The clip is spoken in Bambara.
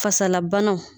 Fasalabanaw